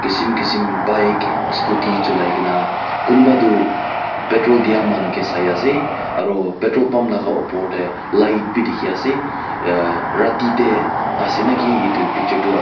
kisim kisim bike scooty cholai kina kunba toh petrol diya manu kae saiasae aro petrol pump laka opor dae light bi diki asae aaaaa rati dae asae na ki etu picture tu.